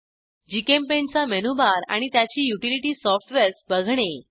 GchemPaintचा menu bar आणि त्याची utility softwares बघणे